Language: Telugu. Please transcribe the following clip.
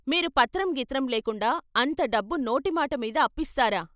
మీరు పత్రం గిత్రం లేకుండా అంత డబ్బు నోటి మాటమీద అప్పిస్తారా?